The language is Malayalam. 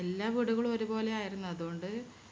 എല്ലാ വീടുകളും ഒരുപോലെ ആയിരുന്നു അതുകൊണ്ട്